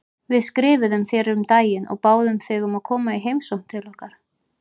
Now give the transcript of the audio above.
Við skrifuðum þér um daginn og báðum þig um að koma í heimsókn til okkar.